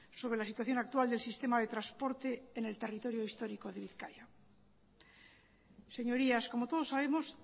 sobre la situación actual del sistema de transporte en el territorio histórico de bizkaia señorías como todos sabemos